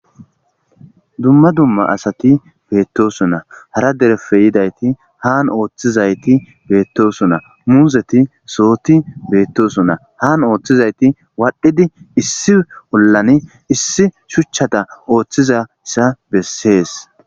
Dumma dumma asati betosona hara dereppe yidayiti hani ooththizayita betosona muzeti sohoyi betosona hani ooththizayita wadhdhidi issi olani issi shuchchata oththzaysa besesi